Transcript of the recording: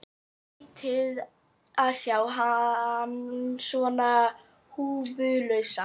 Skrýtið að sjá hann svona húfulausan.